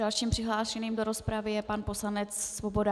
Dalším přihlášeným do rozpravy je pan poslanec Svoboda.